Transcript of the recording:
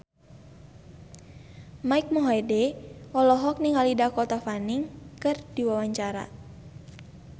Mike Mohede olohok ningali Dakota Fanning keur diwawancara